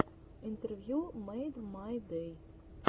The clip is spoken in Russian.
интервью мэйдмайдэй